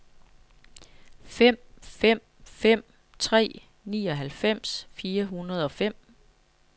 fem fem fem tre nioghalvfems fire hundrede og fem